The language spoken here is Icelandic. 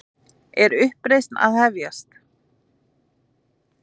Er uppreisnin að hefjast?